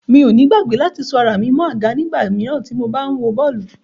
Mi ò ní gbàgbé láti so ara mi mọ́ àga nígbà míràn tí mo ba wọ bàálù.